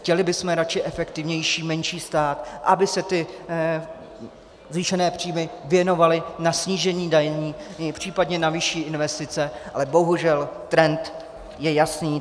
Chtěli bychom raději efektivnější menší stát, aby se ty zvýšené příjmy věnovaly na snížení daní, případně na vyšší investice, ale bohužel trend je jasný.